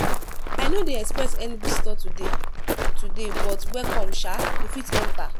i no dey expect any visitor today today but welcome sha. you fit enter.